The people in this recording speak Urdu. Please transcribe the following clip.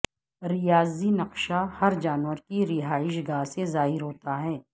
ریاضی نقشہ ہر جانور کی رہائش گاہ سے ظاہر ہوتا ہے